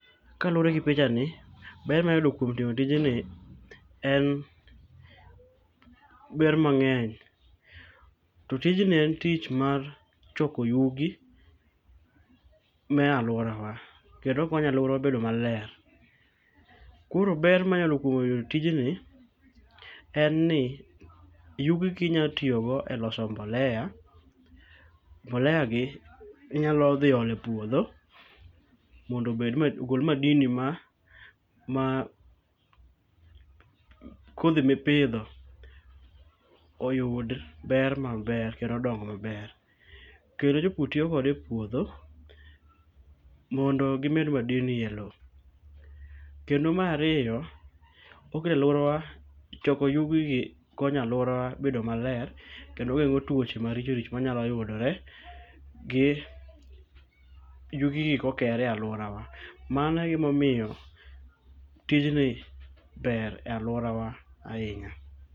Kaluoregi pichani, ber manyayudo kuom timo tijni ,en ber mang'eny. To tijni en tich mar choko yugi mealuorawa kendo okonyo aluora bedo maler. Koro ber manyalo yudo kuom tijni enni yugigi inyatiyogo eloso mbolea. Mboleagi inyalo dhi ole puodho mondo obedma ogol madili mar kodhi mipidho oyud ber maber kendo odong maber. Kendo jopur tiyo kode epuodho mondo gimed madili e loo. Kendo mar ariyo, oke aluowara, choko yugigi konyo aluorawa bedo maler kendo gen'go tuoche maricho richo mawanyalo yudore gi yugigi kokore aluorawa. Mano egima omiyo tijni ber e aluorawa ainya